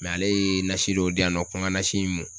ale ye nasi dɔ di yan nɔ ko ng ka nasi in mun